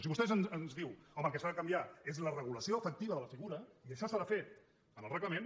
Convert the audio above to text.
si vostè ens diu home el que s’ha de canviar és la regulació efectiva de la figura i això s’ha de fer en el reglament